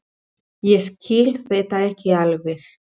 Ég skil þetta ekki alveg.